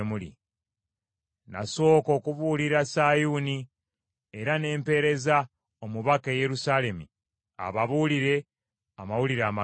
Nasooka okubuulira Sayuuni era ne mpeereza omubaka e Yerusaalemi ababuulire amawulire amalungi.